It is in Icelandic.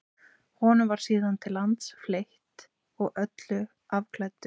honum var síðan til lands fleytt og að öllu afklæddur